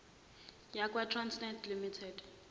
yakwa trasnet limited